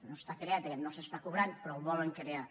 no està creat aquest no s’està cobrant però el volen crear